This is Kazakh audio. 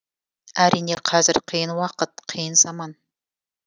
әрине қазір қиын уақыт қиын заман